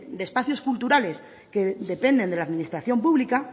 de espacios culturales que dependen de la administración pública